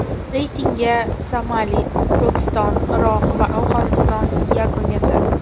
Reytingga Somali, Pokiston, Iroq va Afg‘oniston yakun yasadi.